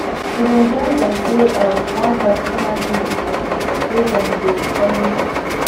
we been join them play um one traditional game um wey them dey always do